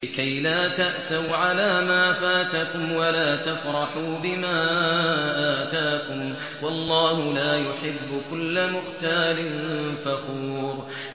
لِّكَيْلَا تَأْسَوْا عَلَىٰ مَا فَاتَكُمْ وَلَا تَفْرَحُوا بِمَا آتَاكُمْ ۗ وَاللَّهُ لَا يُحِبُّ كُلَّ مُخْتَالٍ فَخُورٍ